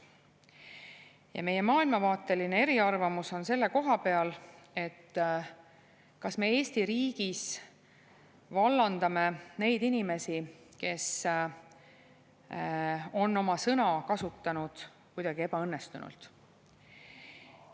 Ja meie maailmavaateline eriarvamus on selle koha peal, et kas me Eesti riigis vallandame neid inimesi, kes on oma sõna kasutanud kuidagi ebaõnnestunult.